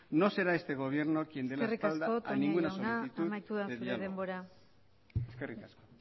no será este gobierno quien dé la espalda a ninguna solicitud de diálogo eskerrik asko